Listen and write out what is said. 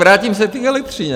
Vrátím se k elektřině.